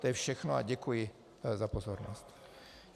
To je všechno a děkuji za pozornost.